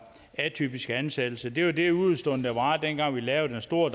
atypiske ansættelser det var det udestående der var dengang vi lavede det store